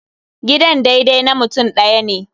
Gidan daidai na mutum ɗaya ne.